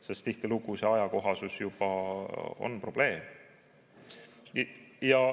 Sest tihtilugu on ajakohasusega juba probleeme.